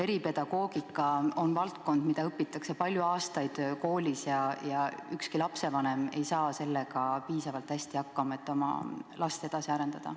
Eripedagoogika on valdkond, mida õpitakse koolis palju aastaid, ja ükski lapsevanem ei saa sellega piisavalt hästi hakkama, et oma last edasi arendada.